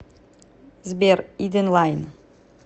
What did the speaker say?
сбер иденлайн